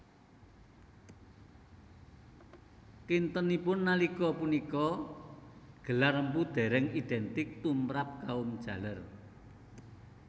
Kintenipun nalika punika gelar mpu dereng identik tumrap kaum jaler